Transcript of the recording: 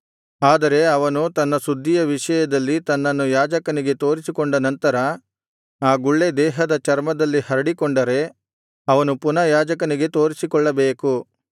ಆದರೆ ಅವನು ತನ್ನ ಶುದ್ಧಿಯ ವಿಷಯದಲ್ಲಿ ತನ್ನನ್ನು ಯಾಜಕನಿಗೆ ತೋರಿಸಿಕೊಂಡನಂತರ ಆ ಗುಳ್ಳೆ ದೇಹದ ಚರ್ಮದಲ್ಲಿ ಹರಡಿಕೊಂಡರೆ ಅವನು ಪುನಃ ಯಾಜಕನಿಗೆ ತೋರಿಸಿಕೊಳ್ಳಬೇಕು